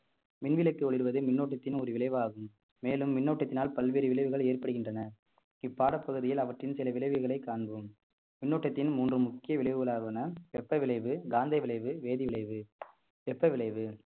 மின் விளக்கு ஒளிர்வது மின்னோட்டத்தின் ஒரு விளைவாகும் மேலும் மின்னோட்டத்தினால் பல்வேறு விளைவுகள் ஏற்படுகின்றன இப்பாடப் பகுதியில் அவற்றின் சில விளைவுகளைக் காண்போம் மின்னோட்டத்தின் மூன்று முக்கிய விளைவுகளான வெப்ப விளைவு, காந்தவிளைவு, வேதிவிளைவு வெப்ப விளைவு